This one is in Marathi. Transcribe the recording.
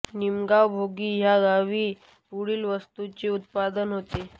निमगाव भोगी ह्या गावी पुढील वस्तूंचे उत्पादन होते